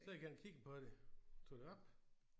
Så gik jeg hen kiggede på den tog den op